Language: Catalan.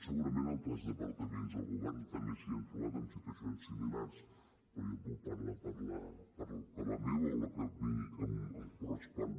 segurament altres departaments del govern també s’hi han trobat amb situacions similars però jo puc parlar per la meva o la que a mi em correspon